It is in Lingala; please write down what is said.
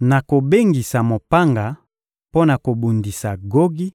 Nakobengisa mopanga mpo na kobundisa Gogi,